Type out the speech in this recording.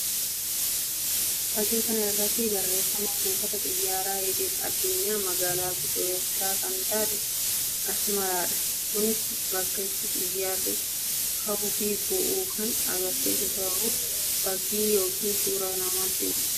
Fakkii kana irratti barreeffama buufata xiyyaaraa idil_addunyaa magaalaa guddoo Ertiraa kan taate Asmaraa dha. Kunis bakka itti xiyyaarri kahuu fi bu'uu kan agarsiisu ta'uu fakkii yookiin suuraa namatti mullisuu dha.